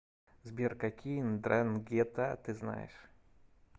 сбер какие ндрангета ты знаешь